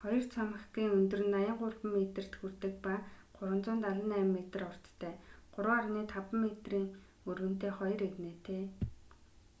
хоёр цамхагийн өндөр нь 83 метрт хүрдэг ба 378 метр урттай 3,50 метрийн өргөнтэй хоёр эгнээтэй